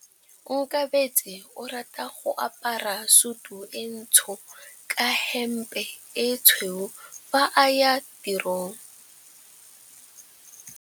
Onkabetse o rata go apara sutu e ntsho ka hempe e tshweu fa a ya tirong.